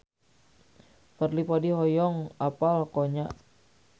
Fadly Padi hoyong apal Konya